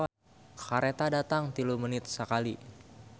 "Kareta datang tilu menit sakali"